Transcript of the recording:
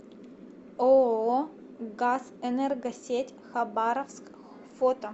ооо газэнергосеть хабаровск фото